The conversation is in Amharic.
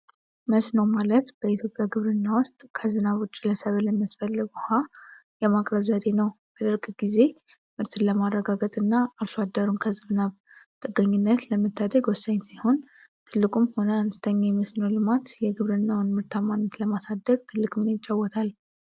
"መስኖ" ማለት በኢትዮጵያ ግብርና ውስጥ ከዝናብ ውጪ ለሰብል የሚያስፈልገውን ውሃ የማቅረብ ዘዴ ነው። በድርቅ ጊዜ ምርትን ለማረጋገጥና አርሶ አደሩን ከዝናብ ጥገኝነት ለመታደግ ወሳኝ ሲሆን፣ ትልቁም ሆነ አነስተኛ የመስኖ ልማት የግብርናውን ምርታማነት ለማሳደግ ትልቅ ሚና ይጫወታል።